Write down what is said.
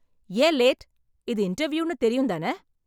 ஏன் லேட். இது இன்டர்வியூன்னு தெரியும் தானே?